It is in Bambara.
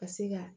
Ka se ka